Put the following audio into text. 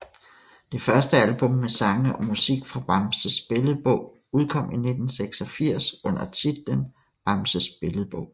Det første album med sange og musik fra Bamses Billedbog udkom i 1986 under titlen Bamses Billedbog